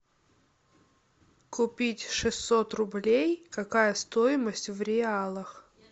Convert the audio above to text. купить шестьсот рублей какая стоимость в реалах